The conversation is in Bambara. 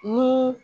N ko